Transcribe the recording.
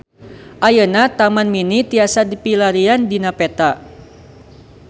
Ayeuna Taman Mini tiasa dipilarian dina peta